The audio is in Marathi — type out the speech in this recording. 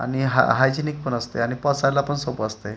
आणि हा हायजेनिक पण असतंय आणि पचायला पण सोपं असतंय.